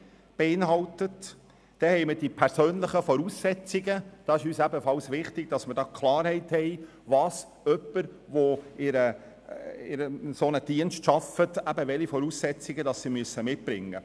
Zu den persönlichen Voraussetzungen: Es ist für uns wichtig, dass wir Klarheit betreffend die Voraussetzungen schaffen, die Mitarbeitende mitbringen müssen, um in diesen Diensten zu arbeiten.